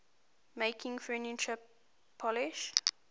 making furniture polish